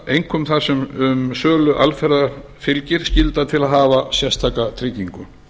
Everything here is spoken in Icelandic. einkum þar sem um sölu alferða fylgir skylda til að hafa sérstaka tryggingu